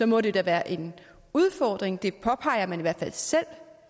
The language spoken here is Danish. må det da være en udfordring det påpeger man i hvert fald selv